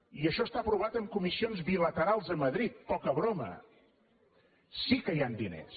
i això està aprovat en comissions bilaterals de madrid poca broma sí que hi han diners